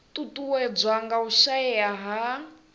ṱuṱuwedzwa nga u shaea ha